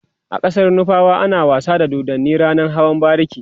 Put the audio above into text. a ƙasar nufawa ana wasa da dodanni ranan hawan bariki